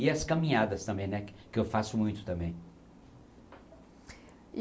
E as caminhadas também, né, que eu faço muito também.